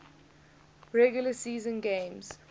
regular season games